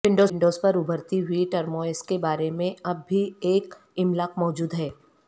Windows پر ابھرتی ہوئی ٹرموئوس کے بارے میں اب بھی ایک املاک موجود ہے